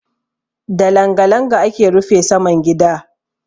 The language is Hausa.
Da langa-langa ake rufe saman gida.